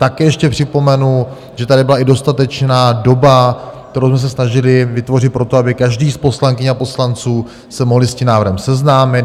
Také ještě připomenu, že tady byla i dostatečná doba, kterou jsme se snažili vytvořit pro to, aby každý z poslankyň a poslanců se mohl s tím návrhem seznámit.